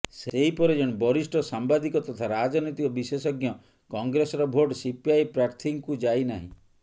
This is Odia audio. ସେହିପରି ଜଣେ ବରିଷ୍ଠ ସାମ୍ବାଦିକ ତଥା ରାଜନୈତିକ ବିଶେଷଜ୍ଞ କଂଗ୍ରେସର ଭୋଟ ସିପିଆଇ ପ୍ରାର୍ଥୀଙ୍କୁ ଯାଇ ନାହିଁ